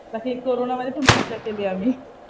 बाकी कोरोना मध्ये पण मजा केली आम्ही.